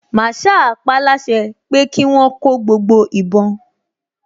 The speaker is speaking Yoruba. Màsáà paáláṣẹ kí wọ́n kó gbogbo ìbọn